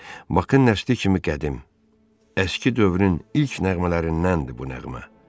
Bak-ın nəsli kimi qədim, əski dövrün ilk nəğmələrindəndir bu nəğmə.